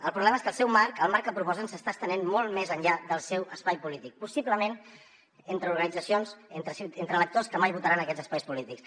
el problema és que el seu marc el marc que proposen s’està estenent molt més enllà del seu espai polític possiblement entre organitzacions entre electors que mai votaran aquests espais polítics